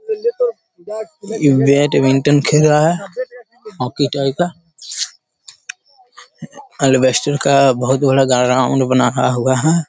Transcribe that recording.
ये बैडमिंटन खेल रहा है हॉकी टाइप का अलबेस्टर बहुत बड़ा ग्राउन्ड बना हा हुआ है।